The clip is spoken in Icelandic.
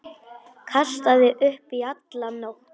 Kastaði upp í alla nótt.